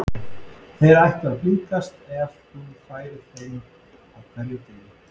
Þeir ættu að blíðkast ef þú færir þeim á hverjum degi.